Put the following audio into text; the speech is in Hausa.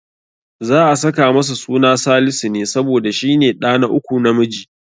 Za'a saka masa suna Salisu ne, saboda shi ne ɗa na uku namiji.